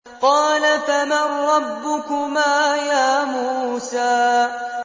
قَالَ فَمَن رَّبُّكُمَا يَا مُوسَىٰ